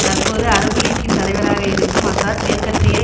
தற்பொழுது அரபு லீக்கின் தலைவராக இருக்கும் அசாத் மேற்கத்தைய